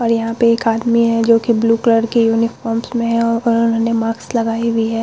और यहां पे एक आदमी है जो कि ब्लू कलर के यूनीफॉर्म्स में है और उन्होंने मास्क लगाई हुई है।